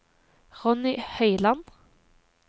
Ronny Høiland